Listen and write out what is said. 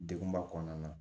Degun ba kɔnɔna na